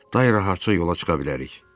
Daha rahatca yola çıxa bilərik.